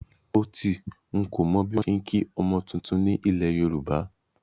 Ótì, n kò mọ bí wọ́n ṣe ń kí ọmọ tuntun ni ilẹ̀ Yorùbá